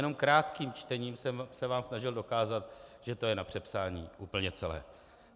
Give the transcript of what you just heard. Jenom krátkým čtením jsem se vám snažil dokázat, že to je na přepsání úplně celé.